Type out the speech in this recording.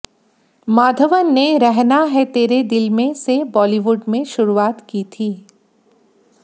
माघवन ने रहना है तेरे दिल में से बॉलीवुड में शुरूआत की थी